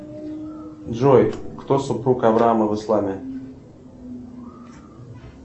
джой кто супруг авраама в исламе